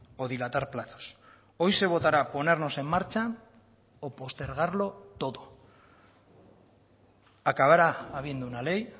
o dilatar plazos hoy se votará ponernos en marcha o postergarlo todo acabará habiendo una ley